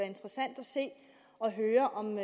interessant at se og høre om